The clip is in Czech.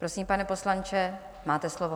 Prosím, pane poslanče, máte slovo.